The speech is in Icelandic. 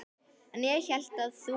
En ég hélt að þú.